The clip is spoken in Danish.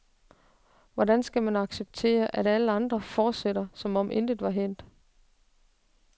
Hvordan skal man acceptere, at alle andre fortsætter, som om intet var hændt?